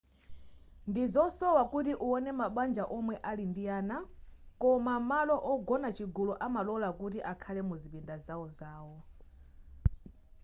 ndizosowa kuti uwone mabanja omwe ali ndi ana koma malo ogona chigulu amalola kuti akhale muzipinda zawozawo